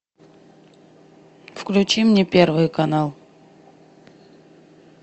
включи мне первый канал